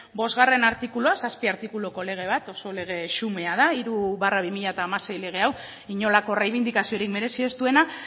artikulua zazpi artikuluko lege bat oso lege xumea da hiru barra bi mila hamasei lege hau inolako errebindikaziorik merezi ez duena